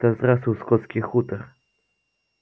да здравствует скотский хутор